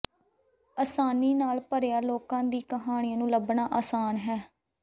ਆਸਾਨੀ ਨਾਲ ਭਰਿਆ ਲੋਕਾਂ ਦੀ ਕਹਾਣੀਆਂ ਨੂੰ ਲੱਭਣਾ ਆਸਾਨ ਹੈ